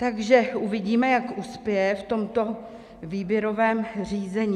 Takže uvidíme, jak uspěje v tomto výběrovém řízení.